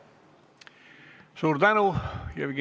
Suur tänu!